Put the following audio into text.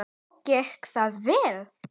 Og gekk það vel?